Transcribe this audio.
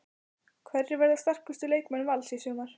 Hverjir verða sterkustu leikmenn Vals í sumar?